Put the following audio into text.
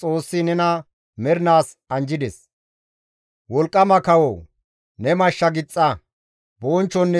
Wolqqama kawoo! Ne mashsha gixxa; bonchchonne teema may7a.